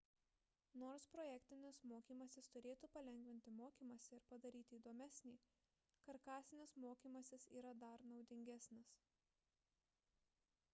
nors projektinis mokymasis turėtų palengvinti mokymąsi ir padaryti įdomesnį karkasinis mokymasis yra dar naudingesnis